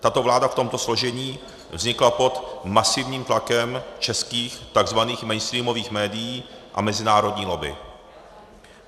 Tato vláda v tomto složení vznikla pod masivním tlakem českých tzv. mainstreamových médií a mezinárodní lobby.